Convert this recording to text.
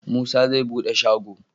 Musa zai bede shago